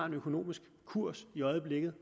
økonomiske kurs i øjeblikket